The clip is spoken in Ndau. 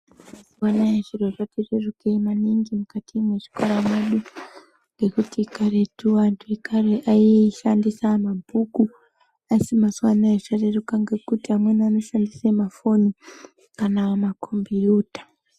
Mazuwa anaa zviro zvati rerukei maningi mukati mezvikarabadu ngekuti karetu vantu vekare aishandisa mabhuku. Asi mazuwa anaa zvareruka ngekuti amweni anoshandisa mafoni kana makhombiuta.